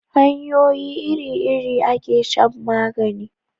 hanyoyi iri iri a ke shan magani